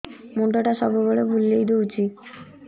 ମୁଣ୍ଡଟା ସବୁବେଳେ ବୁଲେଇ ଦଉଛି